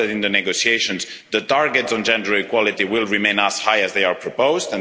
I hope that in the negotiations the targets on gender equality will remain as high as proposed.